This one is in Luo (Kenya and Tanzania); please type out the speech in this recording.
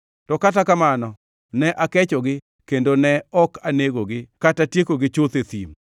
To kata kamano ne akechogi kendo ne ok anegogi kata tiekogi chuth e thim.